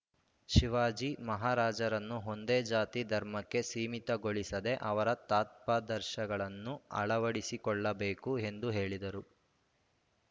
ಶಿವಾಜಿ ಮಹಾರಾಜರನ್ನು ಒಂದೇ ಜಾತಿ ಧರ್ಮಕ್ಕೆ ಸೀಮಿತಗೊಳಿಸದೇ ಅವರ ತತ್ವಾದರ್ಶಗಳನ್ನು ಅಳವಡಿಸಿಕೊಳ್ಳಬೇಕು ಎಂದು ಹೇಳಿದರು